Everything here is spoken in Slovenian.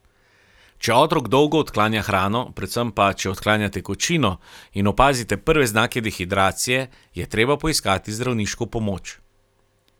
Če otrok dolgo odklanja hrano, predvsem pa, če odklanja tekočino in opazite prve znake dehidracije, je treba poiskati zdravniško pomoč.